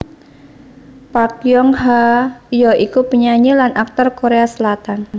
Park Yong ha ya iku penyanyi lan aktor Korea Selatan